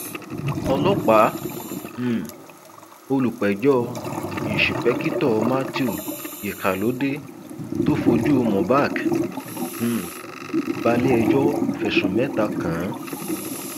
ọlọpàá um olùpẹjọ ìńṣepèkìtọ matthew ikhalódee tó fojú mubak um balẹẹjọ fẹsùn mẹta kàn án